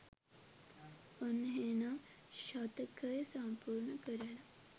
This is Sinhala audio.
ඔන්න එහෙනම් ශතකය සම්පූර්ණ කරලා